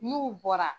N'u bɔra